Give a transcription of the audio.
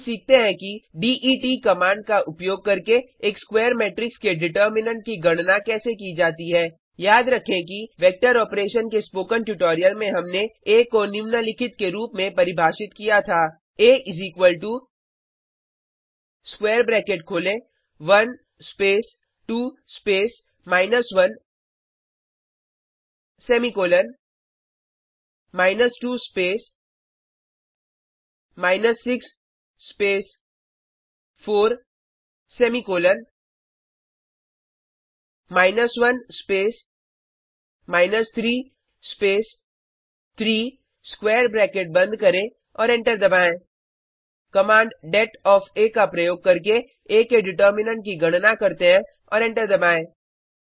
अब सीखते हैं कि डेट कमांड का उपयोग करके एक स्क्वायर मेट्रिक्स के डिटर्मिनेन्ट की गणना कैसे की जाती है याद रखें कि वेक्टर ऑपेरशन के स्पोकन ट्यूटोरियल में हमने आ को निम्नलिखित के रूप में परिभाषित किया था आ स्क्वायर ब्रैकेट खोलें 1 space 2 space minus 1 semicolon 2 space 6 space 4 semicolon 1 space 3 space 3 square bracket बंद करें और एंटर दबाएँ कमांड डेट ओएफ आ का प्रयोग करके आ के डिटर्मिनेन्ट की गणना करते हैं और एंटर दबाएँ